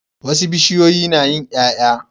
Wasu bishiyoyi nayin yaya